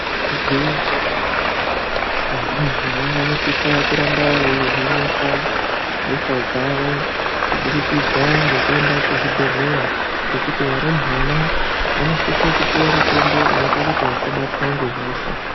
Igwinyiso remenemene varumbwana vanosisa kuramba veivhenekwa hosha dzawo kubudikidza ngekuende kuzvibhehleya, ngekuti varumbwana vanosise kupuwa mutombo unoite kuti vasabatwa ngehosha.